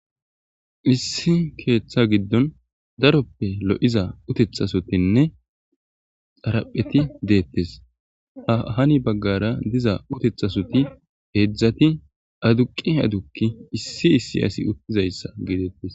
issi keeththa giddon daroppe lo7iza utethasotinne xarapheti deettes ha hani baggara diza utethasoti heedzdzati aduqi adukki issi issi asi uttizayssa geedeettes